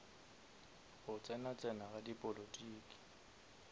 go tsena tsena ga dipolotiki